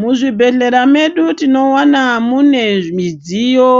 Muzvibhedhlera medu tinowana mune midziyo